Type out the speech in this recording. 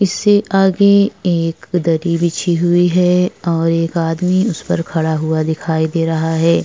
इससे आगे एक उदति बिछि हुइ हैं और एक आदमी उस पर खड़ा हुआ दिखाई दे रहा हैं।